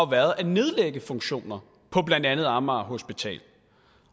været at nedlægge funktioner på blandt andet amager hospital